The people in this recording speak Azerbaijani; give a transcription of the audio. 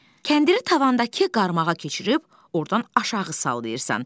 Kəndiri tavandakı qarmağa keçirib ordan aşağı sallayırsan.